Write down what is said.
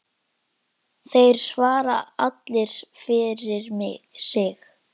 Þeir svara allir fyrir sig.